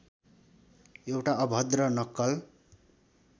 एउटा अभद्र नक्कल